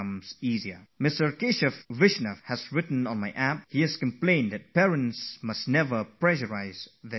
Keshav Vaishnav has written to me on my App, complaining that parents should never put pressure on their children to score more marks